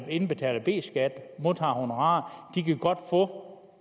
indbetaler b skat og modtager honorarer de kan godt få